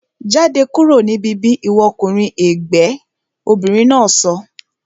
Jáde kúrò ní bíbí ìwọ ọkùnrin ègbẹ́! Obìnrin náà sọ